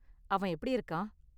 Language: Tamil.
அவன் எப்படி இருக்கான்?